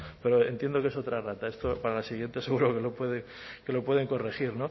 pero entiendo que es otra errata esto para la siguiente seguro que lo pueden corregir